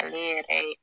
Ale yɛrɛ ye